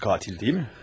Boyacı qatil deyilmi?